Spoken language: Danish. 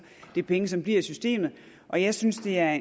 det er penge som bliver i systemet og jeg synes det er